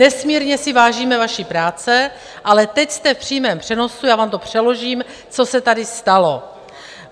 Nesmírně si vážíme vaší práce, ale teď jste v přímém přenosu, já vám to přeložím, co se tady stalo.